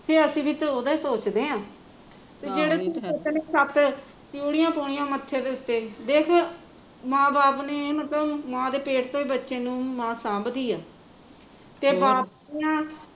ਤੇ ਅੱਸੀ ਵੀ ਤਾਂ ਓਹਦਾ ਹੀਂ ਸੋਚਦੇ ਆ ਜਹਿੜੇ ਧੀ ਪੁੱਤ ਨੇ ਤਿਊੜੀਆ ਪਾਉਣੀਂਆ ਮੱਥੇ ਦੇ ਉੱਤੇ, ਦੇਖ, ਮਾਂ ਬਾਪ ਨੇ ਮਾਂ ਦੇ ਪੇਟ ਤੋਂ ਹੀਂ ਮਾਂ ਬੱਚੇ ਨੂ ਸਾਂਭਦੀ ਆ ਤੇ ਬਾਪ ਦੀਆ